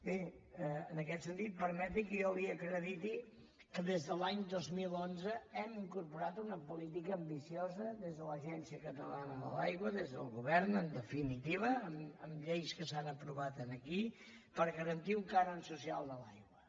bé en aquest sentit permeti que jo li acrediti que des de l’any dos mil onze hem incorporat una política ambiciosa des de l’agència catalana de l’aigua des del govern en definitiva amb lleis que s’han aprovat aquí per garantir un cànon social de l’aigua